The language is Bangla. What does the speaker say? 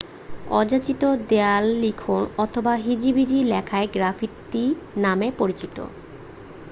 অযাচিত দেয়াললিখন অথবা হিজিবিজি লেখাই গ্রাফিতি নামে পরিচিত